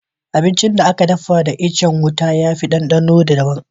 Abincin da aka dafa da itacen wuta ya ɗanɗana daban.